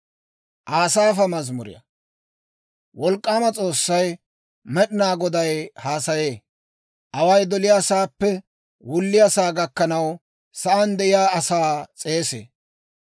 Wolk'k'aama S'oossay, Med'inaa Goday haasayee. Away doliyaasaappe wulliyaasaa gakkanaw sa'aan de'iyaa asaa s'eesee.